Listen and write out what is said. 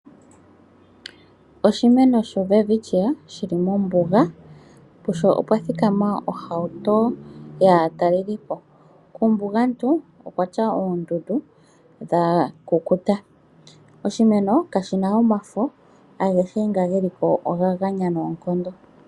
Oshimeno sho welwitchia shili mombuga pusho opwa thikama ohauto yaatalelipo kuumbugantu okwatya oondudu dha kukuta. Oshimeno kashina omafo agehe nga geliko oga ganya noonkondo.